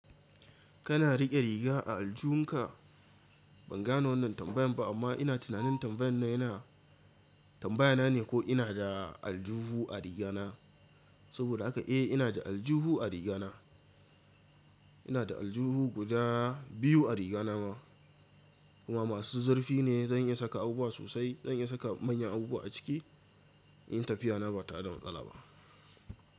Kana riƙe riga a aljunka? Ban gano wannan tambayan ba amma ina tunanin tambayan na yana tambaya na ne ko ina da aljuhu a riga na. Saboda haka eh ina da aljuhu a riga na. Ina da aljuhu guda biyu a riga na kuma masu zurfi ne zan iya saka abubuwa sosai. Zan iya saka manyan abubuwa a ciki. Yin tafiya na bata da matsala ba.